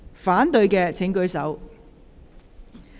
反對的請舉手。